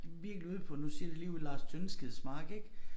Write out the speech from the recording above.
Virkelig ude på nu siger jeg det ligeud Lars Tyndskids Mark ik